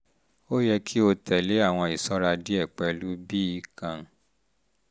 ó yẹ kí o tẹ̀lé àwọn ìṣọ́ra díẹ̀ pẹ̀lú bíi